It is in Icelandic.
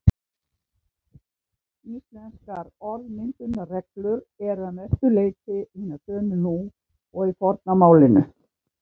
Íslenskar orðmyndunarreglur eru að mestu leyti hinar sömu nú og í forna málinu.